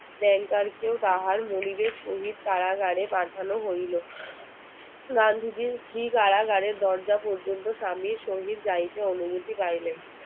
banker কেও তাহার মনীবের সহিত কারাগারে পাঠানো হইলো গান্ধীজির কারাগারের দরজা পর্যন্ত গাইতে অনমুতি পাইলেন